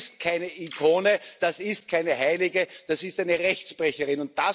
Das ist keine Ikone, das ist keine Heilige, das ist eine Rechtsbrecherin.